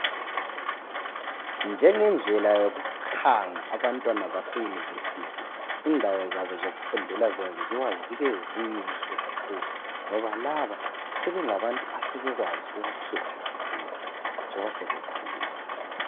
Njengendlela yokukhanga abantwana base university indawo zabo zokufundela zenziwa zibe zinhle kakhulu ngoba laba sebengabantu asebekwazi ukukhetha kakhulu njoba sebekhulile .